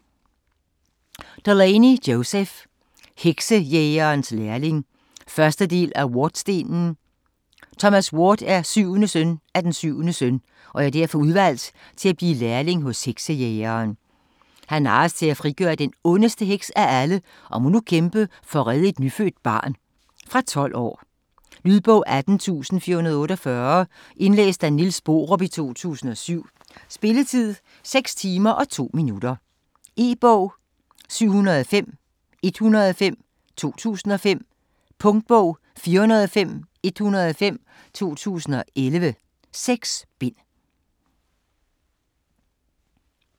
Delaney, Joseph: Heksejægerens lærling 1. del af Wardstenen. Thomas Ward er syvende søn af den syvende søn og er derfor udvalgt til at blive lærling hos heksejægeren. Han narres til at frigøre den ondeste heks af alle og må nu kæmpe for at redde et nyfødt barn. Fra 12 år. Lydbog 18448 Indlæst af Niels Borup, 2007. Spilletid: 6 timer, 2 minutter. E-bog 705105 2005. Punktbog 405105 2011. 6 bind.